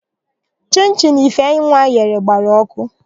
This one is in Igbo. Chịnchịn Ifeinwa ghere gbara ọkụ.